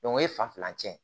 o ye fan filancɛ ye